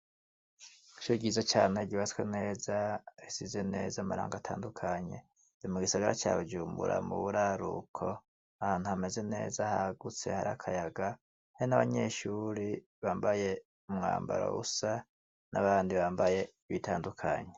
Ishure ryiza cane ryubatswe neza risize neza amarangi atandukanye ni mugisagara ca Bujumbura muburaruko ahantu hameze neza hagutse hari akayaga hari abanyeshure bambaye umwambaro usa nabandi bambaye ibitandukanye.